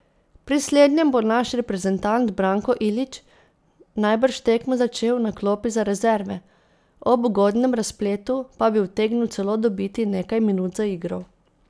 Pri slednjem bo naš reprezentant Branko Ilič najbrž tekmo začel na klopi za rezerve, ob ugodnem razpletu pa bi utegnil celo dobiti nekaj minut za igro.